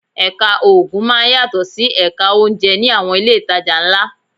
Ẹ̀ka Oògùn máa ń yàtọ̀ sí Ẹ̀ka oúnjẹ ní àwọn ilé ìtajà ńlá